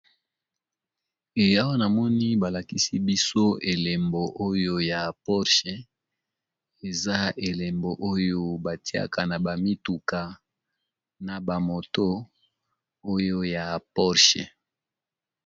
Ee awa namoni balakisibiso elembo oyo ya porche eza elembo oyo batiyaka naba mituka naba moto oyo ya porche